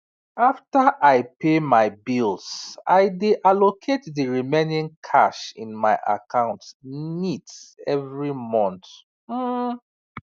after i pay my bills i dey allocate the remaining cash in my account neat every month um